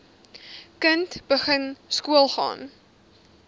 kind begin skoolgaan